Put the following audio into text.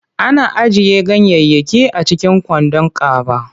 Ana ajiye ganyayyaki a cikin kwandon kaba.